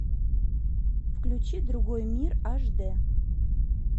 включи другой мир аш дэ